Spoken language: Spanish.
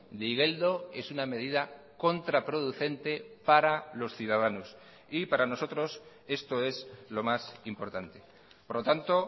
de igeldo es una medida contraproducente para los ciudadanos y para nosotros esto es lo más importante por lo tanto